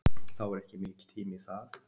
Þá er ekki mikill tími í það.